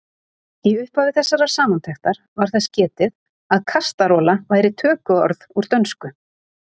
Í upphafi þessarar samantektar var þess getið að kastarola væri tökuorð úr dönsku.